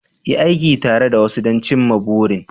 Yi aiki tare da wasu don cimma burin